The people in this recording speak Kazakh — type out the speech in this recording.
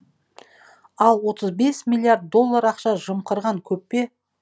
ал отыз бес миллиард доллар ақша жымқырған көп пе